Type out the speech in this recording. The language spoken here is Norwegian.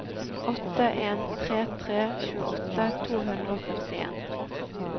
åtte en tre tre tjueåtte to hundre og førtien